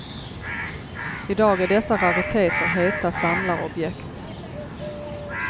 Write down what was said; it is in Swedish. Idag är dessa rariteter heta samlarobjekt.